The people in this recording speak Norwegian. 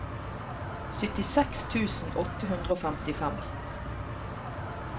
syttiseks tusen åtte hundre og femtifem